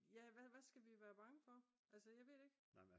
ja hvad skal vi være bange for altså jeg ved det ikke